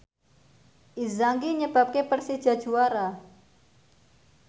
Inzaghi nyebabke Persija juara